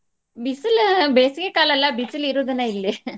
ಬಿಸಲ್ ಬೇಸಿಗೆ ಕಾಲ ಅಲ್ಲಾ ಬಿಸಲ್ ಇರೋದನ್ನ ಇಲ್ಲಿ .